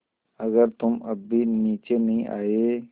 अगर तुम अब भी नीचे नहीं आये